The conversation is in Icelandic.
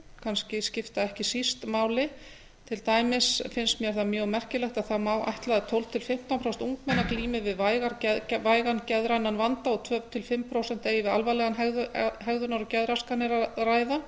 kannski skipta ekki síst máli til dæmis finnst mér það mjög merkilegt að það má ætla að tólf til fimmtán prósent ungmenna glími við vægan geðrænan vanda og tvö til fimm prósent eigi við alvarlegar hegðunar og geðraskanir að ræða